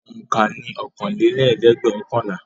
Òǹkà ni ọ̀kanlélẹ́ẹ̀dẹ́gbẹ́ọ̀kànlá.